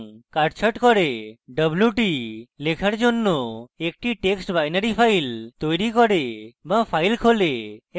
wt = লেখার জন্য একটি text binary file তৈরী করে wt file খোলে এবং শূন্য দৈর্ঘ্যের জন্য কাটছাঁট করে